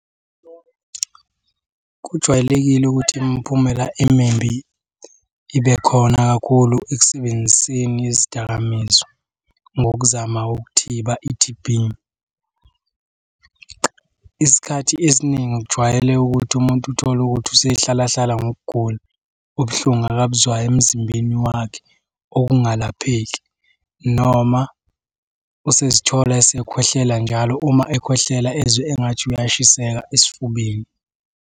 Kujwayelekile ukuthi imiphumela emimbi ibe khona kakhulu ekusebenziseni izidakamizwa ngokuzama ukuthiba i-T_B. Isikhathi esiningi kujwayele ukuthi umuntu uthole ukuthi usehlala hlala ngokugula, ubuhlungu akabuzwayo emzimbeni wakhe okungalapheki noma usezithola esekhwehlela njalo, uma ekhwehlela ezwe engathi uyashiseka esifubeni.